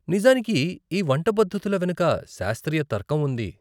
నిజానికి ఈ వంట పద్ధతుల వెనుక శాస్త్రీయ తర్కం ఉంది.